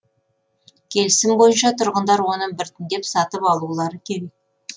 келісім бойынша тұрғындар оны біртіндеп сатып алулары керек